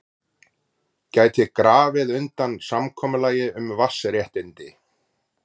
Gæti grafið undan samkomulagi um vatnsréttindi